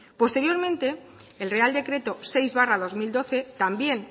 posteriormente el real decreto seis barra dos mil doce también